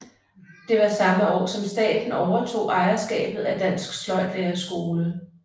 Det var samme år som staten overtog ejerskabet af Dansk Sløjdlærerskole